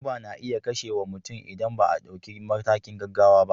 Guba na iya kashewa mutum idan ba a dauki matakin gaggawa ba.